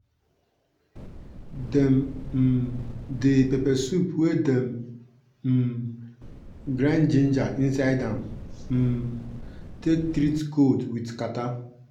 dem um dey pepper soup wey dem um grind ginger inside am um take treat kold with katarrh.